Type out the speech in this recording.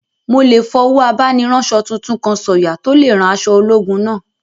Mo lè fọwọ́ abániránsọ tuntun kan sọ̀yà tó lè rán aṣọ ológun náà